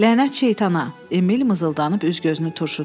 Lənət şeytana, Emil mızıldanıb üz-gözünü turşutdu.